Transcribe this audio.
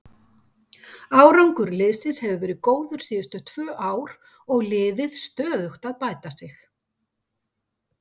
Árangur liðsins hefur verið góður síðustu tvö ár og liðið stöðugt að bæta sig.